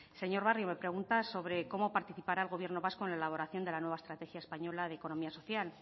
señor barrio me pregunta sobre cómo participará el gobierno vasco en la elaboración de la nueva estrategia española de economía social